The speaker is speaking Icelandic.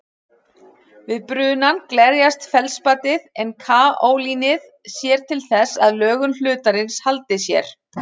Við brunann glerjast feldspatið en kaólínið sér til þess að lögun hlutarins haldi sér.